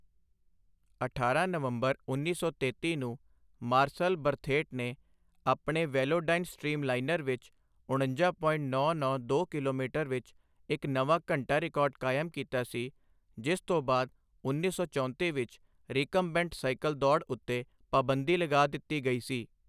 ਅਠਾਰਾਂ ਨਵੰਬਰ, ਉੱਨੀ ਸੌ ਤੇਤੀ ਨੂੰ ਮਾਰਸਲ ਬਰਥੇਟ ਨੇ ਆਪਣੇ ਵੈਲੋਡਾਈਨ ਸਟ੍ਰੀਮਲਾਈਨਰ ਵਿੱਚ ਉਣੰਜਾ ਪੋਇੰਟ ਨੌਂ ਨੌਂ ਦੋ ਕਿਲੋਮੀਟਰ ਵਿੱਚ ਇੱਕ ਨਵਾਂ ਘੰਟਾ ਰਿਕਾਰਡ ਕਾਇਮ ਕੀਤਾ ਸੀ, ਜਿਸ ਤੋਂ ਬਾਅਦ ਉੱਨੀ ਸੌ ਚੌਂਤੀ ਵਿੱਚ ਰਿਕਮਬੈਂਟ ਸਾਈਕਲ ਦੌੜ ਉੱਤੇ ਪਾਬੰਦੀ ਲਗਾ ਦਿੱਤੀ ਗਈ ਸੀ।